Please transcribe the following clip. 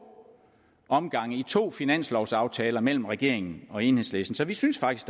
omgange i to finanslovaftaler mellem regeringen og enhedslisten så vi synes faktisk